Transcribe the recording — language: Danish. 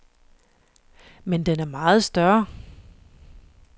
Men den er meget større.